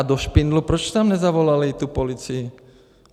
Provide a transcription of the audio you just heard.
A do Špindlu, proč tam nezavolali tu policii?